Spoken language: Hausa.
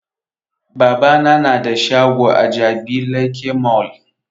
Babana na da shago a jabi lake mall